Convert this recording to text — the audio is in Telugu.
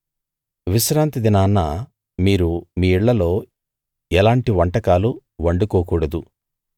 విశ్రాంతి దినాన మీరు మీ ఇళ్ళలో ఎలాంటి వంటకాలు వండుకోకూడదు